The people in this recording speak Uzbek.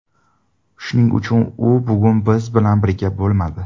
Shuning uchun u bugun biz bilan birga bo‘lmadi.